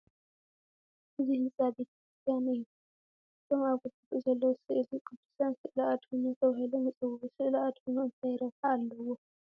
እዚ ህንፃ ቤተ ክርስቲያን እዩ፡፡ እቶም ኣብ ግድግድኡ ዘለዉ ስእሊ ቅዱሳን ስእለ ኣድህኖ ተባሂሎም ይፅውዑ፡፡ ስእለ ኣድህኖ እንታይ ረብሓ ኣለዎም?